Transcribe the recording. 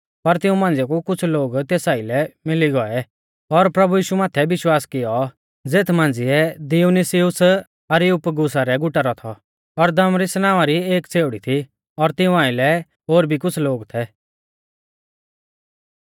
पर तिऊं मांझ़िया कु कुछ़ लोग तेस आइलै मिली गौऐ और प्रभु यीशु माथै विश्वास कियौ ज़ेथ मांझ़िऐ दियुनुसियुस अरियुपगुसा रै गुटा रौ थौ और दमरिस नावां री एक छ़ेउड़ी थी और तिऊं आइलै ओर भी कुछ़ लोग थै